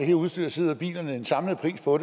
det udstyr som er i bilerne den samlede pris på